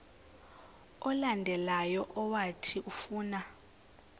olandelayo owathi ufuna